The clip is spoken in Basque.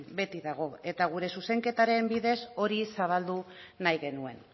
beti dago eta gure zuzenketaren bidez hori zabaldu nahi genuen